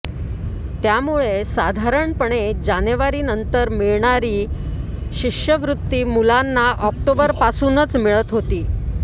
त्यामुळे साधारणपणे जानेवारीनंतर मिळणारी शिष्यवृत्ती मुलांना ऑक्टोबरपासूनच मिळत होती